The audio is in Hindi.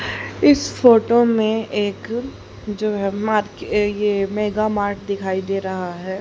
इस फोटो में एक जो है मार्के ये मेगा मार्ट दिखाई दे रहा है।